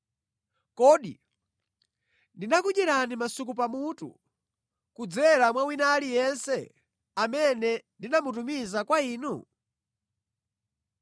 Kodi ndinakudyerani masuku pamutu kudzera mwa wina aliyense amene ndinamutumiza kwa inu?